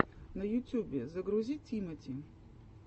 на ютюбе загрузи тимати